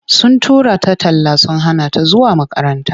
Sun tura ta talla sun hana ta zuwa makaranta.